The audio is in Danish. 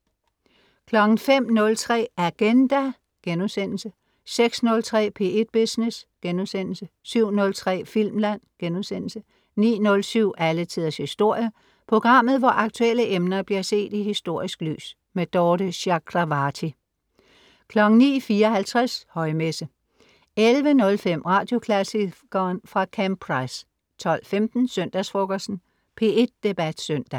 05.03 Agenda* 06.03 P1 Business* 07.03 Filmland* 09.07 Alle Tiders Historie. Programmet hvor aktuelle emner bliver set i historisk lys. Dorthe Chakravarty 09.54 Højmesse 11.05 Radioklassikeren. fra Camp Price 12.15 Søndagsfrokosten. P1 Debat Søndag